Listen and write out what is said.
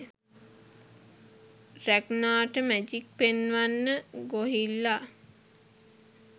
රැග්නාට magic පෙන්වන්න ගොහිල්ලා .